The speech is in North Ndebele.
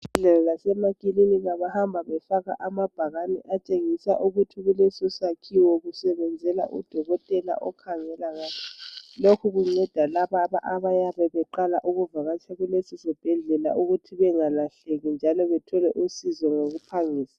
Esibhedlela lasemakilinki bahamba befaka amabhakane atshengisa ukuthi kulesisakhiwo kusebenzela udokotela okhangela ngani. Lokhu kunceda laba abayabe beqala ukuvakatsha kuleso sibhedlela ukuthi bengalahleki njalo bethole usizo ngokuphangisa.